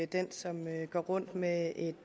den som går rundt med et